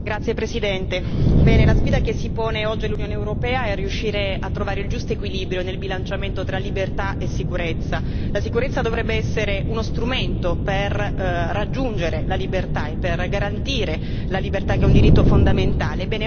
Signor Presidente, onorevoli colleghi, la sfida che si pone oggi l'Unione europea è riuscire a trovare il giusto equilibrio nel bilanciamento tra libertà e sicurezza. La sicurezza dovrebbe essere uno strumento per raggiungere e garantire la libertà, che è un diritto fondamentale.